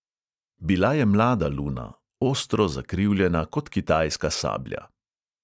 Bila je mlada luna, ostro zakrivljena kot kitajska sablja.